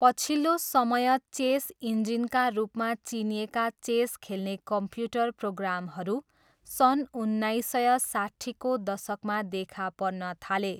पछिल्लो समय चेस इन्जिनका रूपमा चिनिएका चेस खेल्ने कम्प्युटर प्रोग्रामहरू सन् उन्नाइस सय साट्ठीको दशकमा देखा पर्न थाले।